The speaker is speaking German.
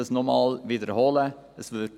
Ich wiederhole noch einmal: